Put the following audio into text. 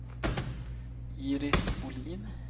Iris Bohlin